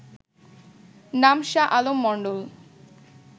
নাম শাহ আলম মন্ডল